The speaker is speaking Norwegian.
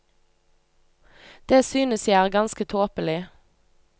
Det synes jeg er ganske tåpelig.